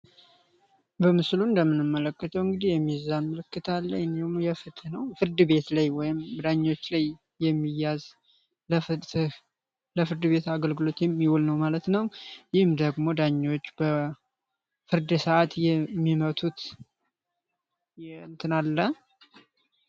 በምስሉ እንደምንመለከተው እንግዲህ የሚዛ ምልክት አለሙ የፈትነው ፍርድ ቤት ላይ ወይም ዳኞች ላይ የሚያ ፍርድ ቤት አገልግሎት የሚል ነው ማለት ነው የሚመጡት አለ